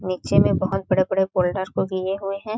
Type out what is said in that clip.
नीचे में बहुत बड़े - बड़े फोल्डर को दिए हुए है।